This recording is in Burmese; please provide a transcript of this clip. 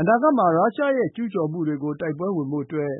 အနာဂတ်မှာ ရုရှားရဲ့ ကျူးကျော်မှုတွေကို တိုက်ပွဲဝင်ဖို့အတွက်